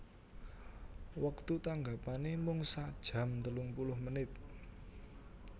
Wektu tanggapanè mung sakjam telungpuluh menit